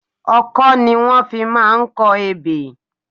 Ọkọ ni wọ́n fi máa ń kọ ebè.